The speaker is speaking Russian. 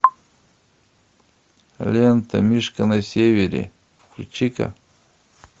лента мишка на севере включи ка